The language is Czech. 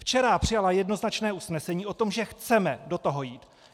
Včera přijala jednoznačné usnesení o tom, že chceme do toho jít.